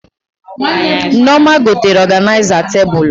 Nneoma gotere ọganịza tebụl